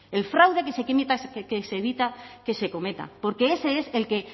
el fraude que se evita que se cometa porque ese es el que